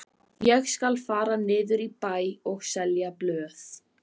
Ég skal fara niður í bæ og selja blöð.